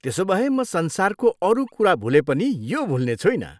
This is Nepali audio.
त्यसोभए, म संसारको अरू कुरा भुले पनि यो भुल्ने छुइनँ।